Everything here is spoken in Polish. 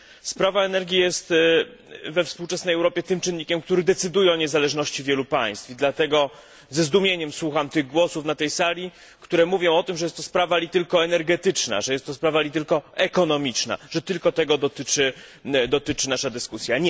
Sprawa energii jest we współczesnej Europie tym czynnikiem, który decyduje o niezależności wielu państw, i dlatego ze zdumieniem słucham tych głosów na tej sali, które mówią, że jest to sprawa tylko energetyczna, że jest to sprawa tylko ekonomiczna, że tylko tego dotyczy nasza dyskusja.